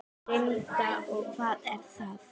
Linda: Og hvað er það?